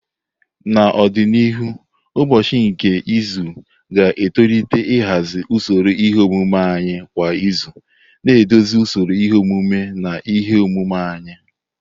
N'ọdịnihu, ụbọchị nke izu ga-etolite nhazi usoro ihe omume anyị kwa izu, na-eduzi usoro ihe omume na ihe omume anyị.